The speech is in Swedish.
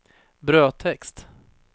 brödtext